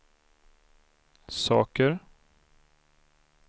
saker